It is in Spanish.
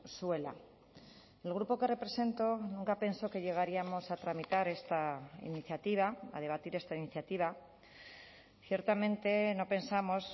zuela el grupo que represento nunca pensó que llegaríamos a tramitar esta iniciativa a debatir esta iniciativa ciertamente no pensamos